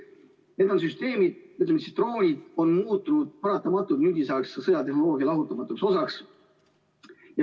Need süsteemid, ütleme siis, droonid on paratamatult muutunud nüüdisaegse sõjatehnoloogia lahutamatuks osaks.